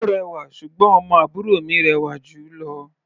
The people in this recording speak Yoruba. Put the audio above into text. Ó rẹwà, ṣùgbọ́n ọmọ àbúrò mi rẹwà jù ú lọ.